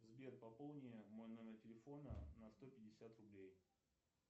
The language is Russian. сбер пополни мой номер телефона на сто пятьдесят рублей